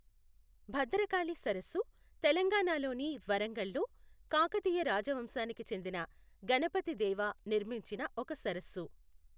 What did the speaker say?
భద్రకాళి సరస్సు తెలంగాణలోని వరంగల్లో కాకతీయ రాజవంశానికి చెందిన గణపతి దేవా నిర్మించిన ఒక సరస్సు.